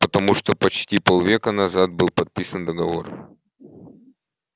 потому почти полвека назад был подписан договор